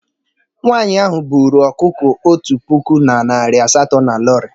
Nwanyị ahụ buru ọkụkọ otu puku na narị asatọ na Lorry.